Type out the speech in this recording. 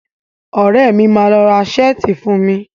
Ọ̀rẹ́ mi ló máa ra ṣáàtì fún mi.